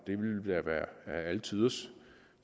det ville da være alle tiders